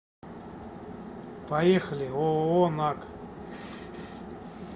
поехали ооо наг